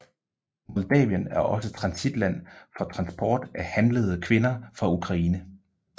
Moldavien er også transitland for transport af handlede kvinder fra Ukraine